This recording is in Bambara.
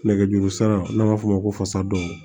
Nɛgɛjuru sira n'a b'a f'o ma ko fasa dɔw